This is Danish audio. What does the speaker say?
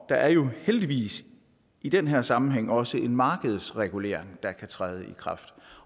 er jo heldigvis i den her sammenhæng også en markedsregulering der kan træde i kraft